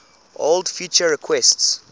old feature requests